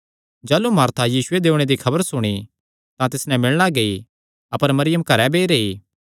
जाह़लू मार्था यीशुये दे ओणे दी खबर सुणी तां तिस नैं मिलणा गेई अपर मरियम घरैं बेई रेई